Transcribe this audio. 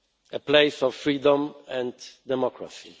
A place of freedom and democracy.